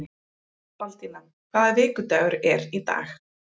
Baldína, hvaða vikudagur er í dag?